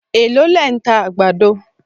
Èló lẹ̀ ń ta àgbàdo